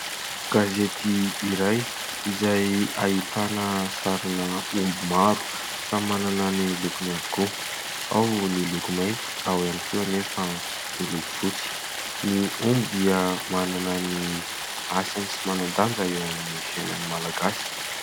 Gazety iray izay ahitana sarina omby maro, samy manana ny lokony avokoa, ao ny loko mainty ao ihany koa anefa ny loko fotsy. Ny omby dia manana ny asany sy manan-danja eo amin'ny fiainan'ny Malagasy.